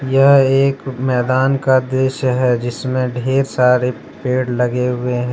यह एक मैदान का दृश्य है जिसमें ढेर सारे पेड़ लगे हुए हैं।